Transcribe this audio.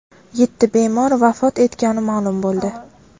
Yetti bemor vafot etgani ma’lum bo‘ldi.